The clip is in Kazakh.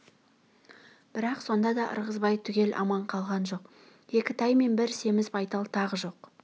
бірақ сонда да ырғызбай түгел аман қалған жоқ екі тай мен бір семіз байтал тағы жоқ